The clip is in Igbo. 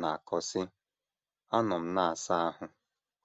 na - akọ, sị: “ Anọ m na - asa ahụ.